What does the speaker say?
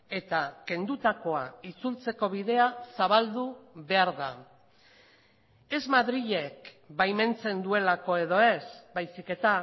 eta kendutakoa itzultzeko bidea zabaldu behar da ez madrilek baimentzen duelako edo ez baizik eta